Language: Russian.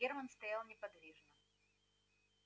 германн стоял неподвижно